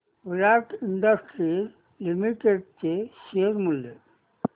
विराट Industries Limited चे share मूल्य